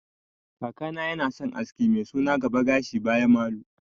Kakana yana son aski mai suna gaba gashi baya malu